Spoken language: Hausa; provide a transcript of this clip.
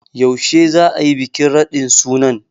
Yaushe za a yi bikin radin sunan?